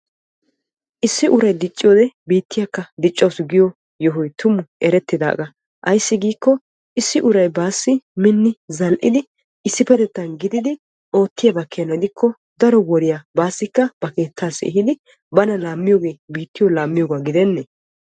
Issi uray dicciyoode biittiyakka diccawussu giyo yohoy tummakka issi uray baassi minni oottiddi dicciyoogee biittiya dicciyooga gidenne!